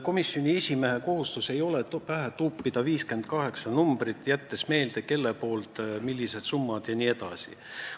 Komisjoni esimehe kohustus ei ole pähe tuupida 58 numbrit, jättes meelde, kelle poolt millised summad jne.